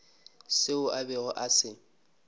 seo a bego a se